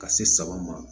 Ka se saba ma